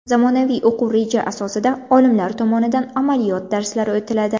Zamonaviy o‘quv reja asosida olimlar tomonidan amaliyot darslari o‘tiladi.